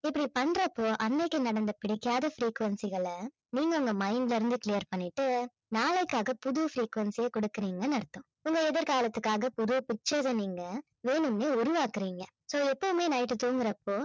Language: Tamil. இப்படி பண்றப்போ அன்னைக்கு நடந்த பிடிக்காத frequency களை நீங்க உங்க mind ல இருந்து clear பண்ணிட்டு நாளைக்காக புது frequency ய கொடுக்கறீங்கன்னு அர்த்தம் உங்க எதிர்காலத்துக்காக புது pictures அ நீங்க வேணும்னே உருவாக்குறீங்க so எப்பவுமே night தூங்கறப்போ